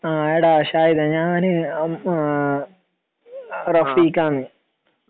എടാ ഷാഹിദേ ഞാനൊരു ഉം ആ റഫീഖ് ആണ്